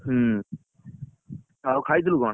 ହୁଁ, ଆଉ ଖାଇଥିଲୁ କଣ?